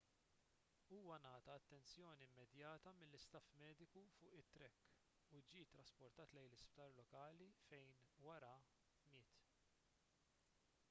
huwa ngħata attenzjoni immedjata mill-istaff mediku fuq it-track u ġie ttrasportat lejn sptar lokali fejn wara miet